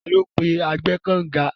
Tani ó pe agbẹ́ẹ́kànǹga?